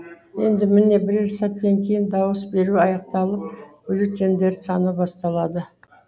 енді міне бірер сәттен кейін дауыс беру аяқталып бюллетендерді саны басталады